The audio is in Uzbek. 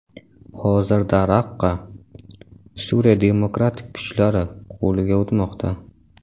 Hozirda Raqqa ‘Suriya demokratik kuchlari’ qo‘liga o‘tmoqda.